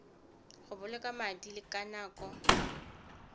go boloka madi le nako